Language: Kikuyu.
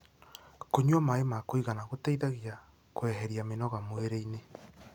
kũnyua maĩ ma kuigana gũteithagia kueherĩa mĩnoga mwĩrĩ-ini